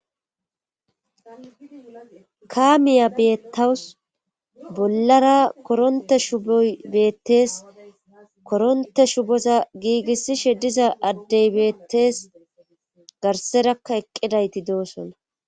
Kaamiya beettawus bollara korontte shuubboy beettees korontte shuboza giigisishe diza addey bettes garsserakka eqqidayti doosona